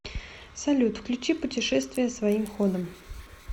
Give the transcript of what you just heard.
салют включи путешествия своим ходом